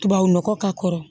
Tubabu nɔgɔ k'a kɔrɔ